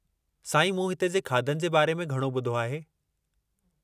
साईं, मूं हिते जे खाधनि जे बारे में घणो ॿुधो आहे।